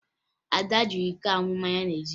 Ada ji iko aṅụ mmanya n'ezi